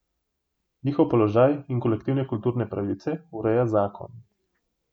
Njihov položaj in kolektivne kulturne pravice ureja zakon.